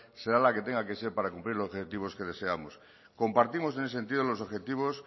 será la que tenga que ser para cumplir los objetivos que deseamos compartimos en ese sentido los objetivos